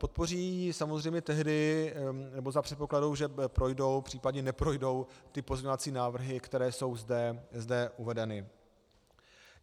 Podpoří ji samozřejmě tehdy, nebo za předpokladu, že projdou, případně neprojdou ty pozměňovací návrhy, které jsou zde uvedeny.